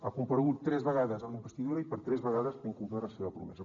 ha comparegut tres vegades en la investidura i per tres vegades ha incomplert la seva promesa